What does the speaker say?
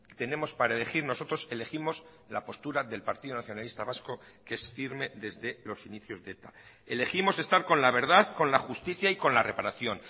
tenemos para elegir nosotros elegimos la postura del partido nacionalista vasco que es firme desde los inicios de eta elegimos estar con la verdad con la justicia y con la reparación